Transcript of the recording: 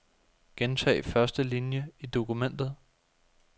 Gentag første linie i dokumentet.